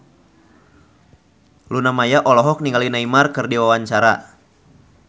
Luna Maya olohok ningali Neymar keur diwawancara